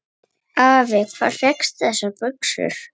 Afi, hvar fékkstu þessar buxur?